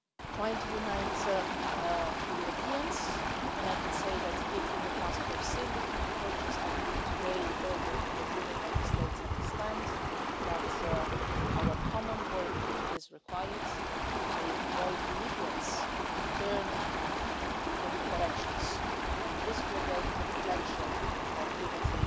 work, trying to unite the Europeans, and I can say that if in the past we have seen different approaches, I believe today that all European Union Member States understand that our common work is required to avoid Libyans turning in different directions and disaggregating the potential of